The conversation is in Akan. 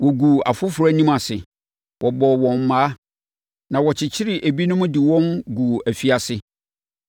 Wɔguu afoforɔ anim ase, bɔɔ wɔn mmaa, na wɔkyekyeree ebinom de wɔn guu afiase.